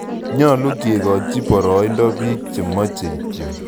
Nyalu kekochi poroindo piik che machei kityok